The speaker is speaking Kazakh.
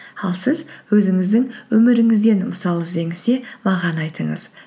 ал сіз өзіңіздің өміріңізден мысал іздеңіз де маған айтыңыз